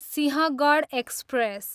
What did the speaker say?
Sinhagad express